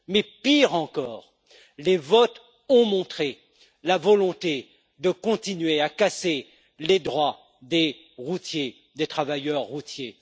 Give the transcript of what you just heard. Mais pire encore, les votes ont montré la volonté de continuer à casser les droits des travailleurs routiers.